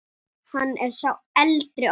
Hann er sá eldri okkar.